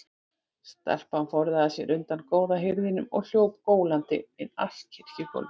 Stelpan forðaði sér undan góða hirðinum og hljóp gólandi inn allt kirkjugólfið.